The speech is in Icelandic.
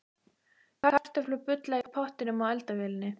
Kartöflur bulla í pottinum á eldavélinni.